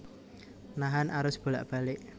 Nahan arus bolak balik